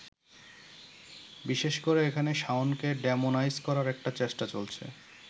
বিশেষ করে এখানে শাওনকে ডেমোনাইজ করার একটা চেষ্টা চলছে।